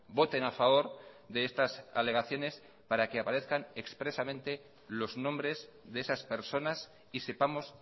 voten a favor de estas alegaciones para que aparezcan expresamente los nombres de esas personas y sepamos